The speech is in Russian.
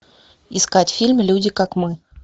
искать фильм люди как мы